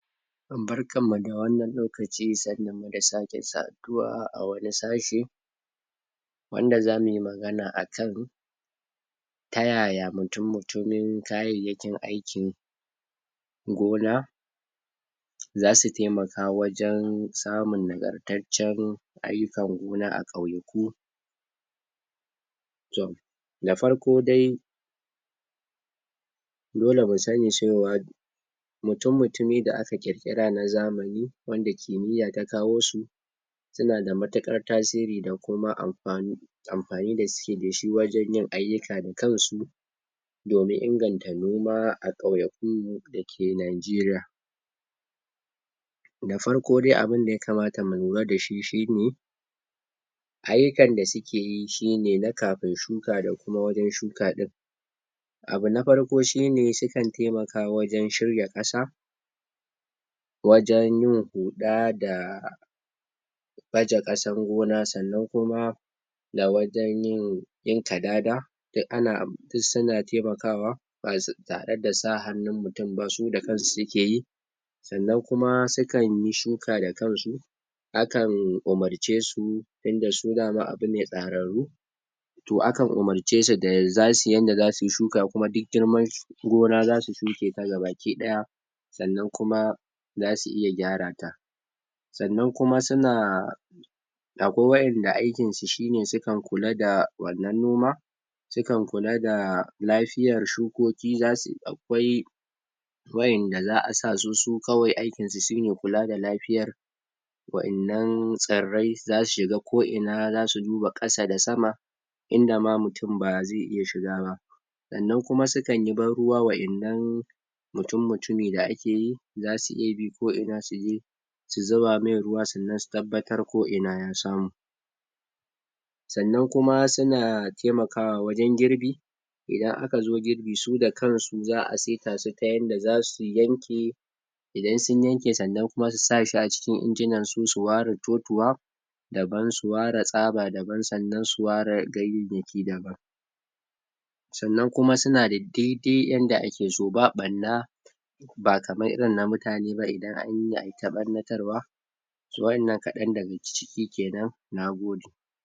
barka mu da wannan lokaci sannun mu da sake saduwa a wani sashe wanda zamui magana akan ta yaya mutum mutumin kayayyakin aikin gona zasu taimaka wajen samun nagartaccen ayyukan gona a ƙauyiku tom da farko dai dole musani cewa mutum mutumi da aka ƙirƙira na zamani wanda kimiya ta kawo su suna da matuƙar tasiri da kuma amfani, amfani dasuke dashi wajen yin ayyuka da kansu domin inganta noma a ƙauyakun mu dake Nigeria da farko dai abun da yakamata mu lura dashi shine ayyukan da suke yi shine na kafin shuka da kuma wajen shuka ɗin abu na farko shine sukan taimaka wajen shirya ƙasa wajen yin huɗa da baje ƙasan gona sannan kuma da wajen yi inkadada duk ana ,duk suna taimakawa ba tare da sa hannun mutum ba suda kansu suke yi sannan kuma sukan yi shuka da kansu akan umarce su tinda su dama abu ne tsararru to akan umarcesu da yanda zasuyi shukan kuma duk girma gona zasu shuke ta gabaki ɗaya sannan kuma zasu iya gyara ta sannan kuma suna aƙwai waƴanda aikin su shine sukan kula da wannan noma sukan kula da lafiyar shukoki zasuyi akwai waƴanda zaʼa sasu su kawai aikin su shine kula da lafiyar waƴannan tsirrai zasu shiga ko ina zasu duba ƙasa da sama inda ma mutum baze iya shiga ba sannan kuma sukan yi ban ruwa waƴannan mutum mutumi da ake yi zasu iya bi ko ina suje su zuba me ruwa sannan su tabbatar ko ina ya samu sannan kuma suna taimakawa wajen girbi idan aka zo girbi su da kansu zaʼa seta su ta yanda zasuyi yanke idan sun yanke sannan kuma su sashi a cikin injinan su su ware totuwa daban su ware tsaba daban sannan su ware ganyayyaki daban sannan kuma suna da daidai yanda ake so ba ɓarna ba kamar irin na mutane ba idan anyi aita ɓarnatarwa so waƴannan kaɗan daga ciki kenan nagode